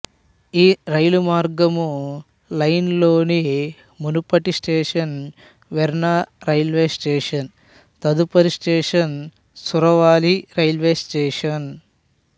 ఈ రైలు మార్గము లైన్ లోని మునుపటి స్టేషను వెర్నా రైల్వే స్టేషను తదుపరి స్టేషను సురవాలి రైల్వే స్టేషను